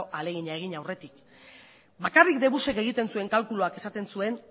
ahalegina egin aurretik bakarrik dbusek egiten zuen kalkuluak esaten zuen